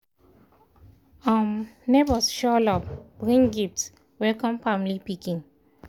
um neighbors show love bring gifts welcome family pikin